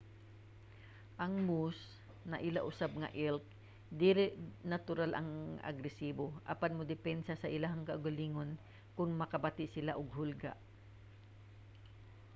ang moose naila usab nga elk dili natural nga agresibo apan modepensa sa ilang kaugalingon kon makabati sila og hulga